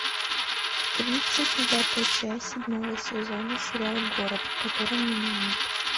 тридцать девятая часть седьмого сезона сериал город в котором меня нет